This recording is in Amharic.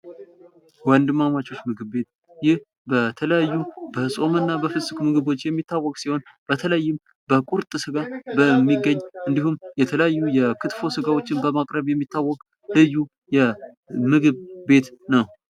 ወንድማማቾች ምግብ ቤት ይህ በተለያዩ በፆምና በፍጹም ምግቦች የሚታወቅ ሲሆን በተለይም በቁርጥ ስጋ በሚገኝ እንዲሁም ክትፎ ስጋዎችን በማቅረብ የሚታወቅ ልዩ የምግብ ቤት ነው።